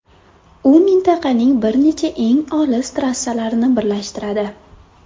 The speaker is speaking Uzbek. U mintaqaning bir nechta eng olis trassalarini birlashtiradi.